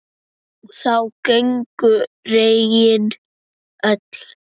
Þá gengu regin öll